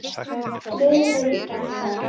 Greiningardeildir hvað?